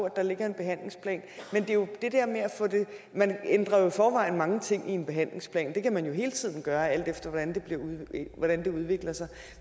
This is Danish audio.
at der ligger en behandlingsplan men man ændrer jo i forvejen mange ting i en behandlingsplan det kan man jo hele tiden gøre alt efter hvordan det udvikler sig